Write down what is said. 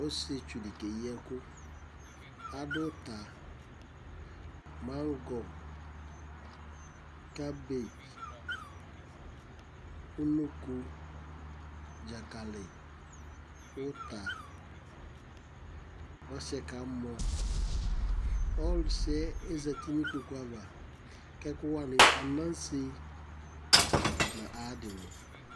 ɔsiétsu di ké yi ɛku adu uta mangɔ kabétch unoko dzakali uta ɔsiɛ ka mɔ ɔsiɛ ozɛti nu ikpokpoava kɛ ɛku woani anasé na ayadini